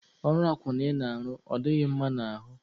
Ọrụ akwụna ị na-arụ, ọ dị gị mma n'ahụ?